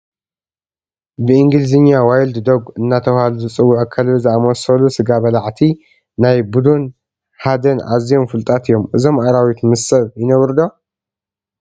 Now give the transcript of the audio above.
ብእንግሊዝኛ ዋይልድ ዶግ እናተባህሉ ዝዕውዑ ከልቢ ዝመስሉ ስጋ በላዕቲ ብናይ ቡድን ሓደን ኣዝዮም ፍሉጣት እዮም፡፡ እዞም ኣራዊት ምስ ሰብ ይነብሩ ዶ?